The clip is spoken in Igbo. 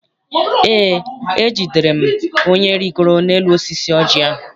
Eé, ejidere m onye rigoro n'elu osisi oji ahụ.